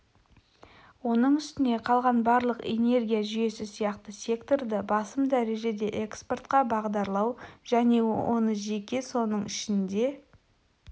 оның үстіне қалған барлық энергия жүйесі сияқты секторды басым дәрежеде экспортқа бағдарлау және оны жеке соның ішінде